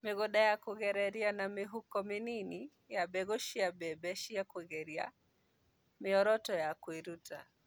Mĩgũnda ya kũgereria na mĩhuko mĩnini ya mbegũ cia mbembe cia kũgerea: mĩoroto ya kwĩruta.